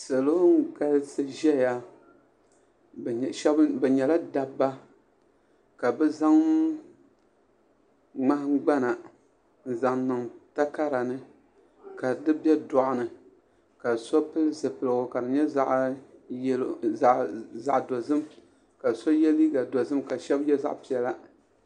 salo n-galisi zaya bɛ nyɛla dabba ka bɛ zaŋ ŋmahin'gbana n-zaŋ niŋ takara ni ka di dɔɣuni ka so pili zupiligu ka di zaɣ'yelo zaɣ'dozim ka so ye liiga dozim ka shɛba ye zaɣ'piɛlla